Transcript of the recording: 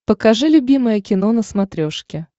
покажи любимое кино на смотрешке